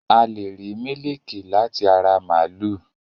A lẹ̀ rí mílíkì láti ara màlúù